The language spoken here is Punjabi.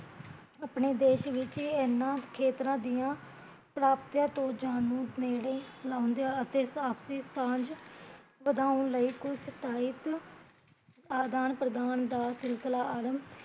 ਅਪਣੇ ਦੇਸ਼ ਵਿੱਚ ਏਹਨਾ ਖੇਤਰਾ ਦੀਆ ਪ੍ਰਾਪਤੀਆ ਤੋਂ ਜਾਣੂ, ਨੇੜੇ ਆਉਂਦਿਆ ਅਤੇ ਆਪਸੀ ਸਾਂਝ ਵਧਾਉਣ ਲਈ ਕੁਜ ਸਾਹਿਤ ਆਦਾਨ ਪ੍ਰਧਾਨ ਦਾ ਸਿਲਸਿਲਾ ਅਰੰਭ